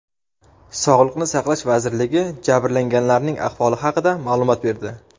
Sog‘liqni saqlash vazirligi jabrlanganlarning ahvoli haqida ma’lumot berdi.